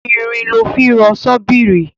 Irin lọ́ fi rọ ṣọ́bìrì.